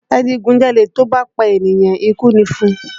Adigunjalè tó bá pa ènìyàn, ikú ni fún un